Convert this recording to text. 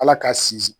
Ala k'a sinsin